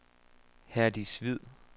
Herdis Hvid